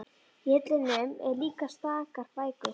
Í hillunum eru líka stakar bækur.